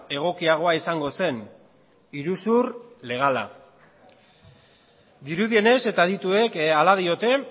egokiagoa izango zen iruzur legala dirudienez eta adituek hala diote